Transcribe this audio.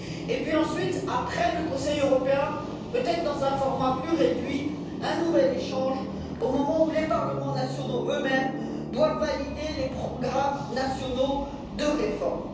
Nous devons ensuite, après le Conseil européen, peut être dans un format plus réduit, organiser un nouvel échange au moment où les parlements nationaux eux mêmes doivent valider les programmes nationaux de réforme.